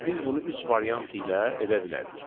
Biz bunu üç variant ilə edə bilərik.